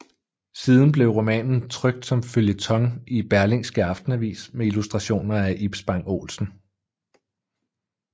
Siden blev romanen trykt som føljeton i Berlingske Aftenavis med illustrationer af Ib Spang Olsen